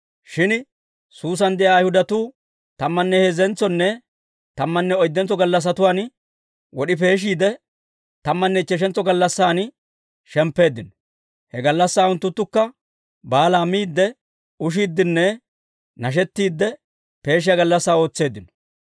Shin Suusan de'iyaa Ayhudatuu tammanne heezzentsonne tammanne oyddentso gallassatuwaan wod'i peeshiide, tammanne ichcheshantso gallassan shemppeeddino. He gallassaa unttunttukka baalaa miidde, ushiiddenne nashettiidde peeshiyaa gallassaa ootseeddino.